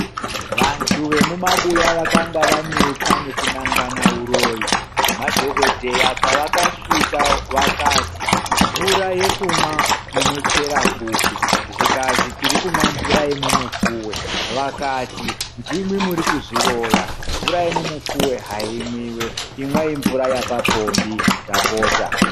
Vantu vemumabuya vakanga vanetsa nekunangana uroyi, madhokodheya pavakasvika vakati mvura yekumwa munochera kupi zvikanzi tiri kumwa mvura yemumupfuve vakati ndimwi muri kuzviroya mvura yemumupfuve haimwiwe imwai mvura yepapombi ndapota.